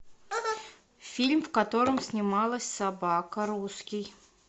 фильм в котором снималась собака русский